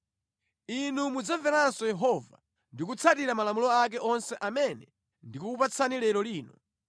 Inu mudzamveranso Yehova ndi kutsatira malamulo ake onse amene ndikukupatsani lero lino.